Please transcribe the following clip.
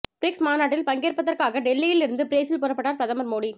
BRICS மாநாட்டில் பங்கேற்பதற்காக டெல்லியில் இருந்து பிரேசில் புறப்பட்டார் பிரதமர் மோடி